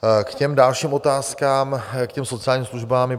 K těm dalším otázkám, k těm sociálním službám.